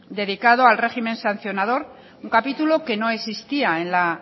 dedicado al régimen sancionador un capítulo que no existía en la